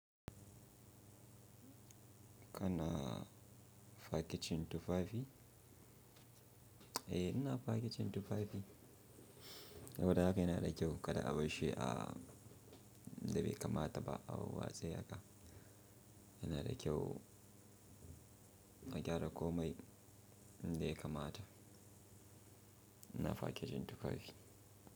Kana fakicin tufafi? Eh, ina fakicin tufafi. Saboda haka yana da kyau kada a barshi da bai kamata ba a warwatse haka. Yana da kyau a gyara komai inda ya kamata. Ina fakicin tufafi.